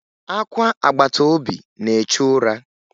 Akwa agbataobi na-echu ụra.